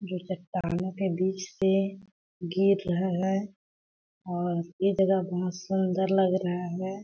दो चट्टानों के बीच से गिर रहा है और ये जगह बहुत सुन्दर लग रहा हैं ।